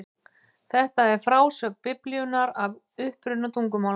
Þetta er frásögn Biblíunnar af uppruna tungumálanna.